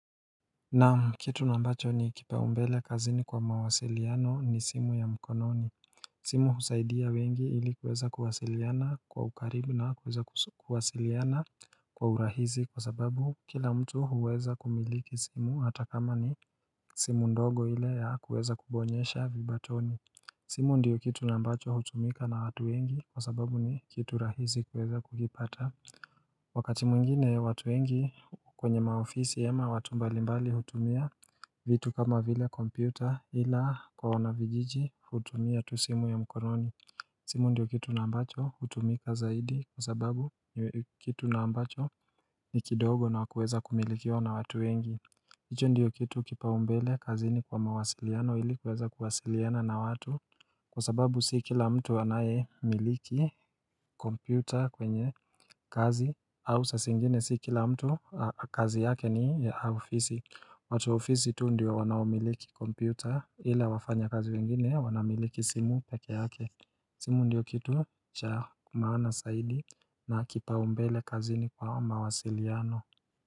Na kitu nambacho ni kipaumbele kazini kwa mawasiliano ni simu ya mkononi simu husaidia wengi ili kuweza kuwasiliana kwa ukaribu na kuweza kuwasiliana kwa urahizi kwa sababu kila mtu huweza kumiliki simu hata kama ni simu ndogo ile ya kuweza kubonyesha vibatoni simu ndiyo kitu nambacho hutumika na watu wengi kwa sababu ni kitu rahizi kuweza kukipata Wakati mungine watu wengi kwenye maofisi yema watu mbalimbali hutumia vitu kama vile kompyuta ila korona vijiji hutumia tusimu ya mkononi simu ndiyo kitu na ambacho hutumika zaidi kwa sababu kitu na ambacho ni kidogo na wakueza kumilikio na watu wengi Icho ndiyo kitu kipaumbele kazi ni kwa mawasiliano ili kuweza kuwasiliana na watu Kwa sababu si kila mtu anaye miliki kompyuta kwenye kazi au sasa zingine si kila mtu kazi yake ni ofisi watu ofisi tu ndiyo wanamiliki kompyuta ili wafanya kazi wengine wanamiliki simu peke yake simu ndiyo kitu cha maana saidi na kipaumbele kazi ni kwa mawasiliano.